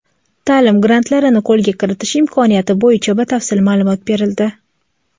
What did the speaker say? ta’lim grantlarini qo‘lga kiritish imkoniyati bo‘yicha batafsil ma’lumot berildi.